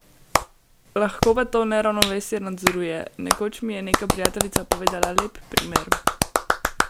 Lahko pa to neravnovesje nadzoruje: "Nekoč mi je neka prijateljica povedala lep primer.